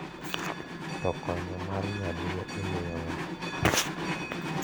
to konyo mar nyaluo imiyo nga'